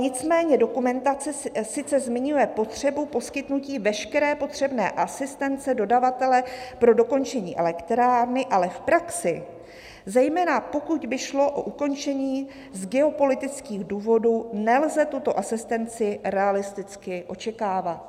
Nicméně dokumentace sice zmiňuje potřebu poskytnutí veškeré potřebné asistence dodavatele pro dokončení elektrárny, ale v praxi, zejména pokud by šlo o ukončení z geopolitických důvodů, nelze tuto asistenci realisticky očekávat.